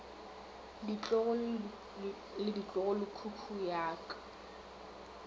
ditlogolo le ditlogolokhukhu ya ka